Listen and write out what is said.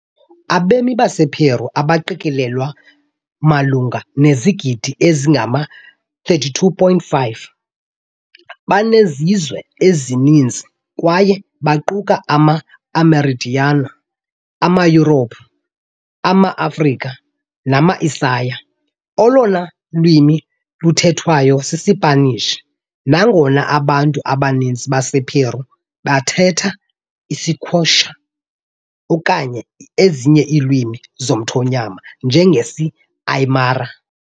Abemi basePeru, abaqikelelwa malunga nezigidi ezingama-32.5, banezizwe ezininzi kwaye baquka ama-Amerindians, amaYurophu, amaAfrika, nama -Asiya. Olona lwimi luthethwayo sisiSpanish, nangona abantu abaninzi basePeru bathetha isiQuechua okanye ezinye iilwimi zomthonyama, njengesiAymara